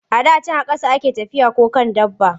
A da can a ƙasa a ke tafiya ko kan dabba.